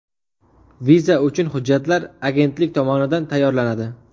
Viza uchun hujjatlar agentlik tomonidan tayyorlanadi.